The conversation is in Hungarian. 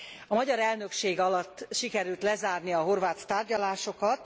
A magyar elnökség alatt sikerült lezárni a horvát tárgyalásokat.